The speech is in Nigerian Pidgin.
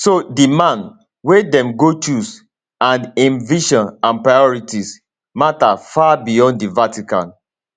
so di man wey dem go choose and im vision and priorities mata far beyond di vatican